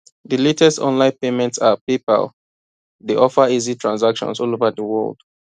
di latest online payment app paypal dey offer easy transactions all over di world